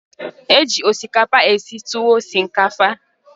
Eji osikapa esi tuwu shinkafa.